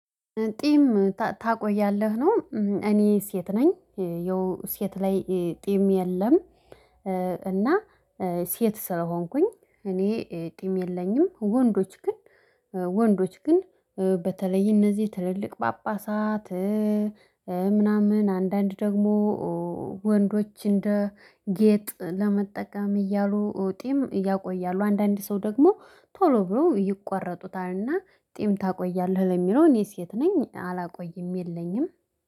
ጢም ታቆያለህ ነው እኔ ሴት ነኝ ይኸው ሴት ላይ ጢም የለም። እና ሴት ስለሆንኩኝ እኔ ጥም የለኝም። ወንዶች ግን ወንዶች ግን በተለይ እነዚህ ትልልቅ ጳጳሳት። ምናምን አንዳንድ ደግሞ ወንዶች እንደ ጌጥ ለመጠቀም እያሉ ጤም እያቆያሉ አንዳንድ ሰው ደግሞ ቶሎ ብሎ ይቋረጡታልና። ጤም ታቆያለህ ለሚለው እኔስ ሴት ነኝ አላቆይም የለኝም